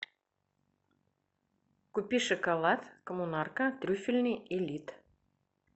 купи шоколад коммунарка трюфельный элит